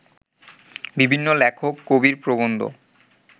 বিভিন্ন লেখক-কবির প্রবন্ধ